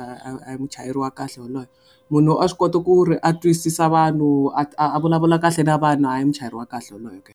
a hi muchayeri wa kahle yoloye. Munhu a swi kota ku ri a twisisa vanhu a vulavula kahle na vanhu a hi muchayeri wa kahle wolowo ke.